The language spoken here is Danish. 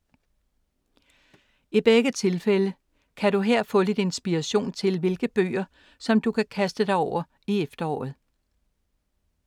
I begge tilfælde kan du her få lidt inspiration til hvilke bøger, som du kan kaste dig over i efteråret.